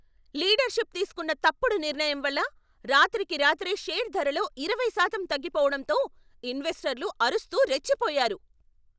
Leadership తీస్కున్న తప్పుడు నిర్ణయం వల్ల రాత్రికి రాత్రే షేర్ ధరలో ఇరవై శాతం తగ్గిపోవడంతో ఇన్వెస్టర్లు అరుస్తూ రెచ్చిపోయారు.